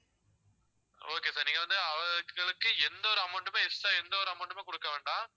okay sir நீங்க வந்து அவங்களுக்கு எந்த ஒரு amount மே extra எந்த ஒரு amount மே குடுக்க வேண்டாம்